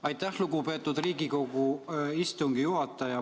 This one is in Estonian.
Aitäh, lugupeetud Riigikogu istungi juhataja!